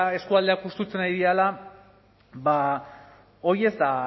eskualdeak hustutzen ari direla ba hori ez da